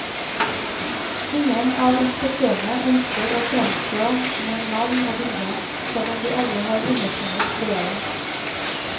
Ingen av inspektørene ønsker å fremstå med navn og bilde, selv om de alle har undertegnet brevet.